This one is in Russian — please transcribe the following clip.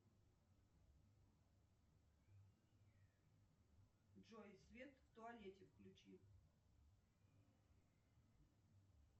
джой свет в туалете включи